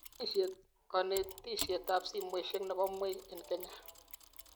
Konetishetab simoishek nebo mweik eng Kenya